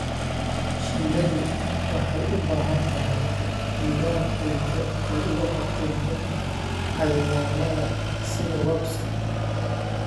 Shinnidu waxay u baahan tahay nidaam ay uga hortagto cayayaannada sida wasps-ka.